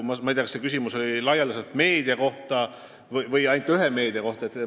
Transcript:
Ma ei tea, kas see küsimus oli laialdaselt meedia või ainult ühe meediakanali kohta.